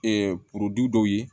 dɔw ye